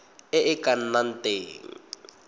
e e ka nnang teng